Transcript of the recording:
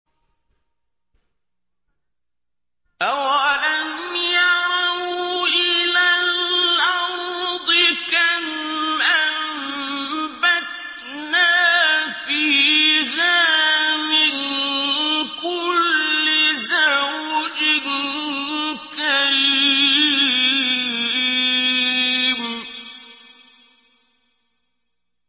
أَوَلَمْ يَرَوْا إِلَى الْأَرْضِ كَمْ أَنبَتْنَا فِيهَا مِن كُلِّ زَوْجٍ كَرِيمٍ